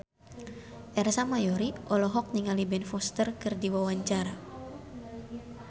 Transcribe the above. Ersa Mayori olohok ningali Ben Foster keur diwawancara